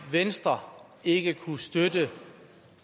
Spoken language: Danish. venstre ikke kunne støtte